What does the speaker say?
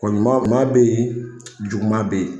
Kɔni ɲuman be yen, juguman be yen.